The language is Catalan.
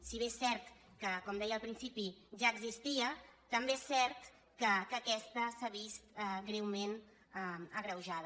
si bé és cert que com deia al principi ja existia també és cert que aquesta s’ha vist greument agreujada